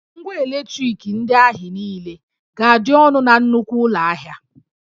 Ngwà eletriki ndị ahị niile ga-adị ọnụ na nnukwu ụlọ ahịa